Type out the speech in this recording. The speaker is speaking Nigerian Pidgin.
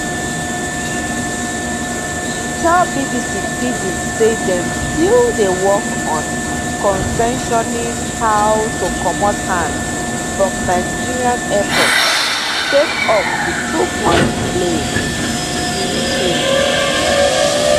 e tell bbc pidgin say dem still dey work on concessioning how to comot hand from nigeria airports sake of di too much delay bureaucracy